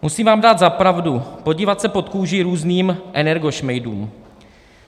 Musím vám dát za pravdu, podívat se pod kůži různým energošmejdům.